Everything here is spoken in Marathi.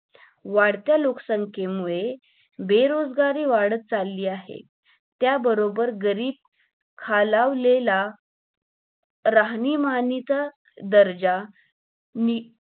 वाढत्या लोकसंखेमुळे बेरोजगारी वाढत चालली आहे त्या बरोबर गरीब खालावलेला राहणीमानीचा दर्जा नि